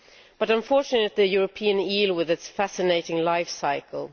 but unfortunately this is the European eel with its fascinating life cycle.